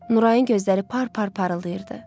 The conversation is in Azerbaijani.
Nurayın gözləri par-par parıldayırdı.